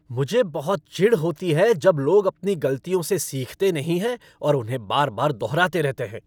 मुझे बहुत चिढ़ होती है जब लोग अपनी गलतियों से सीखते नहीं हैं और उन्हें बार बार दोहराते रहते हैं।